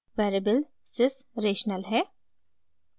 variable sys rational है